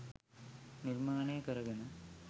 නිර්මාණය කරගෙන